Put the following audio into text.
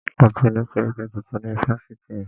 A ti ni sẹ́ríkí tuntun ni ifáfitì mí.